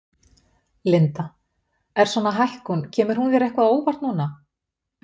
Linda: Er svona hækkun, kemur hún þér eitthvað á óvart núna?